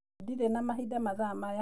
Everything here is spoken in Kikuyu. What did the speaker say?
Ndirĩ na mahinda mathaa maya.